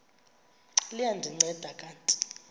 liya ndinceda kanti